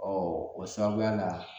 Ɔ o sababuya la